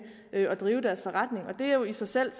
at drive forretning det er jo i sig selv